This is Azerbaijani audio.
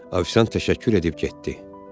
Ofisiant təşəkkür edib getdi.